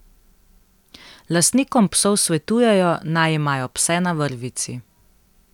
Lastnikom psov svetujejo, naj imajo pse na vrvici.